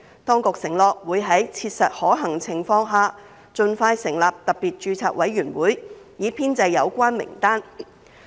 當局承諾會在切實可行情況下盡快成立特別註冊委員會，以編製有關名單。